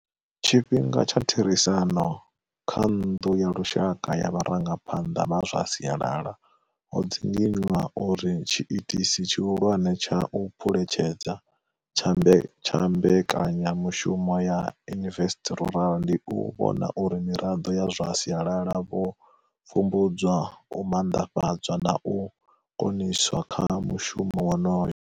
Tshifhinga tsha therisano kha nnḓu ya lushaka ya vharangaphanḓa vha zwa sialala ho dzinginywa uri tshiitisi tshihulwane tsha u phuletshedza tsha mbekanyamushumo ya Invest Rural ndi u vhona uri miraḓo ya zwa sialala vho pfumbudzwa, u manḓafhadzwa na u koniswa kha mushumo wonoyo.